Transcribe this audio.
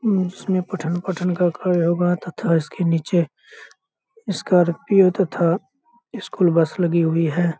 हम्म उसमे पठन-पाठन का कार्य होगा तथा इसके नीचे स्कॉर्पियो तथा स्कूल बस लगी हुई है।